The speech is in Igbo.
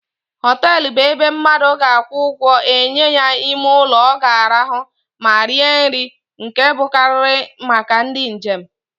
Hotelu bụ ebe mmadu ga akwụ ụgwọ enye ya ime ụlọ o ga-arahu ma rie nri, nke bụkarịrị màkà ndị njem.